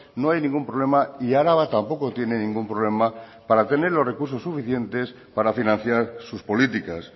no hay ningún problema y araba tampoco tiene ningún problema para tener los recursos suficientes para financiar sus políticas